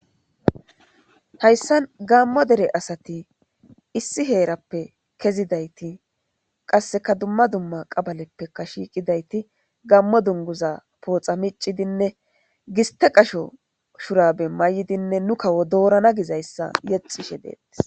hayssan gammo dere asati issi heerappe kezidayti qasseka dumma dumma qabaleppeka shiiqidayti gammo dunguza pooxa miccidinne giste qasho shurabe may7idinne nu kawo doorana gizayssa yexishe deetis